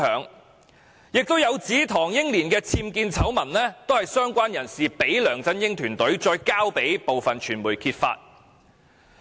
此外，更有指唐英年的僭建醜聞是由相關人士交給梁振英團隊，然後再轉交部分傳媒揭發的。